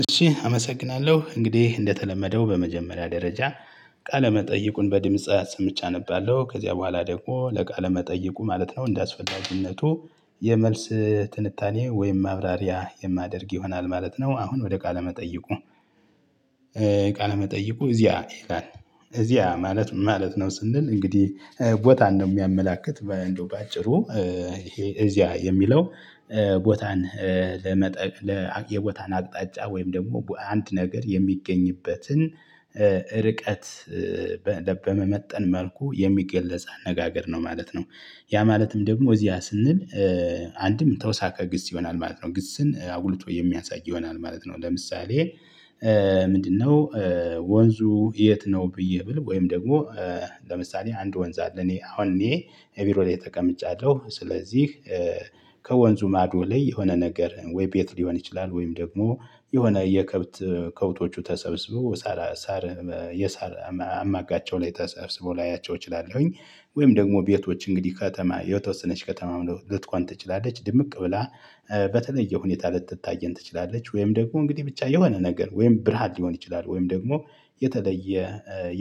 እሺ አመሰግናለሁ እንግዲህ እንደተለመደው በመጀመሪያ ደረጃ ቃለመጠይቁን በድምጽ አሰምቼ አነባለሁ ከዚያ በኋላ ደግሞ ለቃለ መጠይቁ ማለት ነው እንደያስፈላጁነቱ የመልስ ትንታኔ ወይም ማብራሪያ የማደርግ ይሆናል ማለት ነው። አሁን ወደ ቃለ መጠይቁ ቃለመጠይቁ እዚያ ይላል እዚያ ማለት ማለት ነው ስንል እንግዲህ ቦታ ነው የሚያመላክት በእንደው በአጭሩ ይሄ እዚያ የሚለው ቦታን ለመጠቅ የቦታን አቅጣጫ ወይም ደግሞ በአንድ ነገር የሚገኝበትን ርቀት በመመጠን መልኩ የሚገለጽ አነጋገር ነው ማለት ነው። ያ ማለትም ደግሞ እዚያ ስንል አንድም ተወሳቀ ግስ ይሆናል ማለት ነው ግስን አጉልቶ የሚያሳይ ይሆናል ማለት ነው። ለምሳሌ ምንድነው ወንዙ የት ነው? ብዬ ብል ወይም ደግሞ ለምሳሌ አንድ ወንዝ አለ እኔ አሁን እኔ ቢሮ ላይ ጠቀምጫለሁ። ስለዚህ ከወንዙ ማዶ ላይ የሆነ ነገር ወይ ቤት ሊሆን ይችላል ወይም ደግሞ የሆነ የከብት ከብቶቹ ተሰብስበው ሳር የሳር አማጋቸው ላይ ተሰብስቦ ላያቸው እችላለሁኝ ወይም ደግሞ ቤቶች እንግዲህ ከተማ የተወሰነች ከተማ ልትቋን ትችላለች ድምቅ ብላ በተለየ ሁኔታ ልትታየን ትችላለች ወይም ደግሞ እንግዲህ ብቻ የሆነ ነገር ወይም ብርሃን ሊሆን ይችላል ወይም ደግሞ የተለየ